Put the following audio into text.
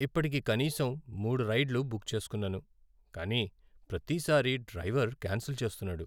ఇప్పటికి కనీసం మూడు రైడ్లు బుక్ చేస్కున్నాను, కానీ ప్రతి సారి డ్రైవర్ క్యాన్సెల్ చేస్తున్నాడు.